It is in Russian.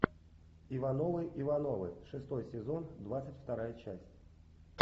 ивановы ивановы шестой сезон двадцать вторая часть